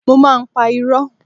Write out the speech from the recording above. Mo má ń pa irọ́.